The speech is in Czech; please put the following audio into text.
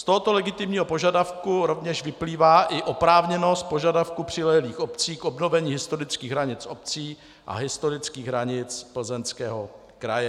Z tohoto legitimního požadavku rovněž vyplývá i oprávněnost požadavku přilehlých obcí k obnovení historických hranic obcí a historických hranic Plzeňského kraje.